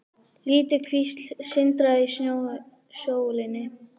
Lítil kvísl sindraði í sólinni.